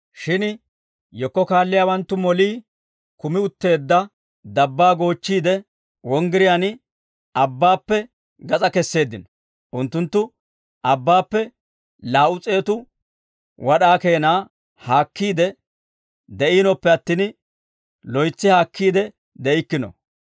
Shin yekko kaalliyaawanttu molii kumi utteedda dabbaa goochchiide, wonggiriyaan abbaappe gas'aa kesseeddino; unttunttu abbaappe laa"u s'eetu wad'aa keenaa haakkiide de'iinoppe attin, loytsi haakkiide de'ikkino.